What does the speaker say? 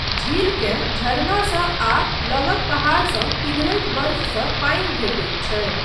झीलकेँ झरनासँ आ लगक पहाड़सँ पिघलैत बर्फसँ पानि भेटैत छै।